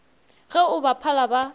ge o ba phala ba